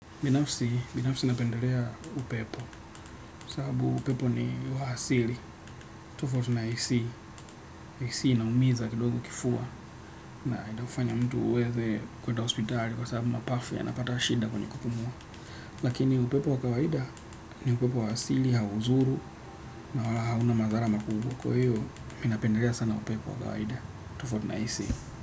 Binafsi, binafsi napendelea upepo, sababu upepo ni wa asili, tofauti na AC, AC inaumiza kidogo kifua, na itafanya mtu uweze kwenda hospitali kwa sababu mapafu yanapata shida kwenye kupumua. Lakini upepo wa kawaida ni upepo wa asili, haudhuru na wala hauna madhara makubwa. Kwa hiyo, mimi napendelea sana upepo wa kawaida, tofauti na AC.